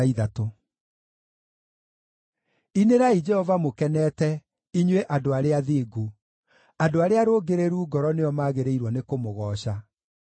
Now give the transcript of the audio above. Inĩrai Jehova mũkenete, inyuĩ andũ arĩa athingu; andũ arĩa arũngĩrĩru ngoro nĩo maagĩrĩirwo nĩkũmũgooca.